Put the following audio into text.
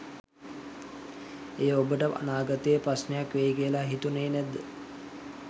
එය ඔබට අනාගතයේ ප්‍රශ්නයක් වෙයි කියලා හිතුණේ නැද්ද?